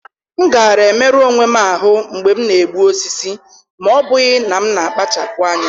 M gaara emerụ onwe m ahụ́ mgbe m na-egbu osisi, ma ọ́ bụghị na m na-akpachapụ anya